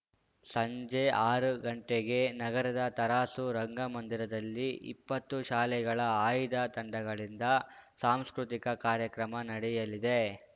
ಸಂಜೆ ಆರು ಗಂಟೆಗೆ ನಗರದ ತರಾಸು ರಂಗಮಂದಿರದಲ್ಲಿ ಇಪ್ಪತ್ತು ಶಾಲೆಗಳ ಆಯ್ದ ತಂಡಗಳಿಂದ ಸಾಂಸ್ಕೃತಿಕ ಕಾರ್ಯಕ್ರಮ ನಡೆಯಲಿದೆ